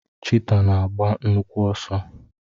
Chiita na agba nnukwu ọsọ.